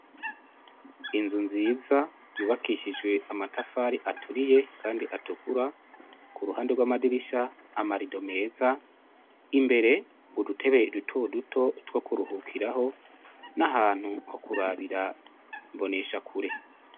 Inzu nziza yubakishijwe amatafari aturiye kandi atukura kuruhande rwamadirisha amarido meza imbere udutebe duto duto twokuruhukiraho n'ahantu hokurabira imboneshakure.